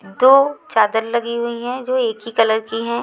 दो चादर लगी हुई हैं जो एक ही कलर की हैं।